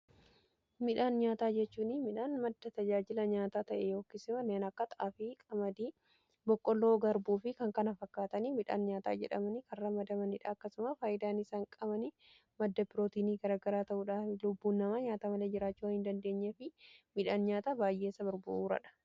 Midhaan nyaataa jechuun midhaan madda tajaajila nyaataa ta'e yookiin immoo kanneen akka xaaafi qamadii boqqoloo garbuu fi kan kana fakkaatanii midhaan nyaataa jedhamanii kan ramadamaniidha . Akkasumaa faayyidaan isaan qaama madda pirootiinii garagaraa ta'uudhaf lubbuun namaa nyaata malee jiraachuu waan hin dandeenyee fi midhaan nyaata baay'eessa barbaaduudha.